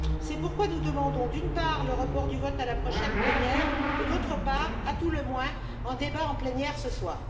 C'est pourquoi nous demandons, d'une part, le report du vote à la prochaine plénière, et, d'autre part, à tout le moins, un débat en plénière ce soir.